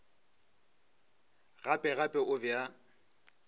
gape gape o be a